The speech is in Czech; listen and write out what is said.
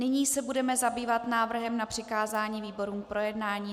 Nyní se budeme zabývat návrhem na přikázání výborům k projednání.